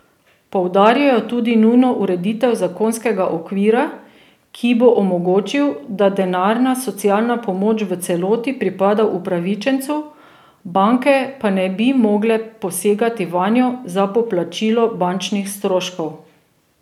Poudarjajo tudi nujno ureditev zakonskega okvira, ki bo omogočil, da denarna socialna pomoč v celoti pripada upravičencu, banke pa ne bi mogle posegati vanjo za poplačilo bančnih stroškov.